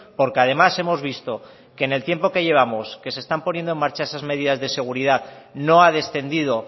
porque además hemos visto que en el tiempo que llevamos que se están poniendo en marcha esas medidas de seguridad no ha descendido